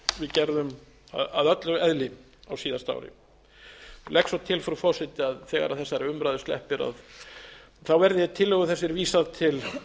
gerðum að öllu eðli á síðasta ári ég legg svo til frú forseti að þegar þessari umræðu sleppir verði tillögu þessari vísað til